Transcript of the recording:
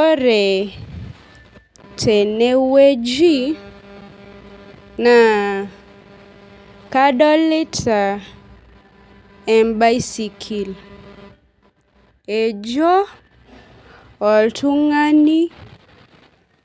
Ore teneweji naa kadolita ebaisikil. Ejo oltumg'ani